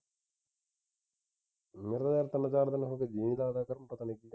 ਮੇਰਾ ਯਾਰ ਤਿੰਨ ਚਾਰ ਦਿਨ ਹੋ ਗਏ ਜੀ ਨਹੀਂ ਲੱਗਦਾ ਇਧਰ ਪਤਾ ਨਹੀਂ ਕੀ ਗੱਲ ਹੋ ਗਈ